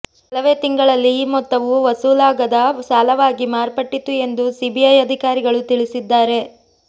ಕೆಲವೇ ತಿಂಗಳಲ್ಲಿ ಈ ಮೊತ್ತವು ವಸೂಲಾಗದ ಸಾಲವಾಗಿ ಮಾರ್ಪಟ್ಟಿತ್ತು ಎಂದು ಸಿಬಿಐ ಅಧಿಕಾರಿಗಳು ತಿಳಿಸಿದ್ದಾರೆ